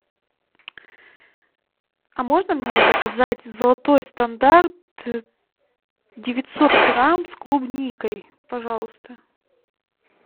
а можно мне заказать золотой стандарт девятьсот грамм с клубникой пожалуйста